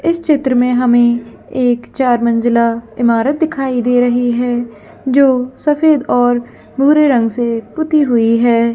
इस चित्र में हमें एक चार मंजिला इमारत दिखाई दे रहे हैजो सफेद और भूरे रंग से पुती हुई है।